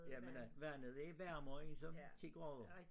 Jamen øh vandet er varmere end som 10 grader